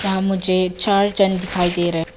यहां मुझे चार जन दिखाई दे रहे हैं।